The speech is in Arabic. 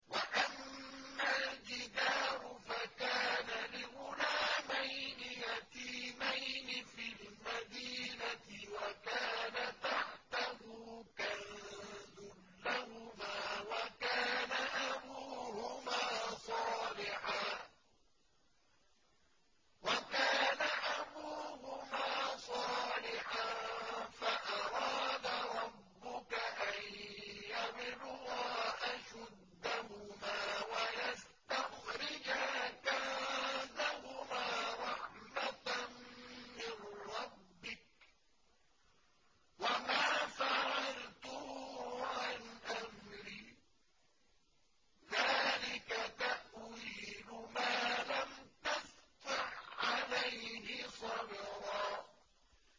وَأَمَّا الْجِدَارُ فَكَانَ لِغُلَامَيْنِ يَتِيمَيْنِ فِي الْمَدِينَةِ وَكَانَ تَحْتَهُ كَنزٌ لَّهُمَا وَكَانَ أَبُوهُمَا صَالِحًا فَأَرَادَ رَبُّكَ أَن يَبْلُغَا أَشُدَّهُمَا وَيَسْتَخْرِجَا كَنزَهُمَا رَحْمَةً مِّن رَّبِّكَ ۚ وَمَا فَعَلْتُهُ عَنْ أَمْرِي ۚ ذَٰلِكَ تَأْوِيلُ مَا لَمْ تَسْطِع عَّلَيْهِ صَبْرًا